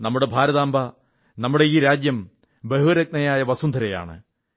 നമ്മുടെ ഭാരതാംബ നമ്മുടെ ഈ രാജ്യം ബഹുരത്നയായ വസുന്ധര ആണ്